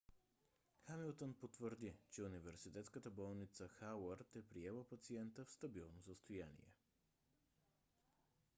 хамилтън потвърди че университетската болница хауърд е приела пациента в стабилно състояние